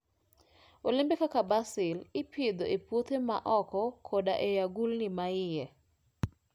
Olembe kaka basil ipidho e puothe ma oko koda e agulni ma iye.